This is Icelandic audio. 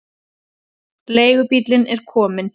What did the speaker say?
Leigubíllinn er kominn.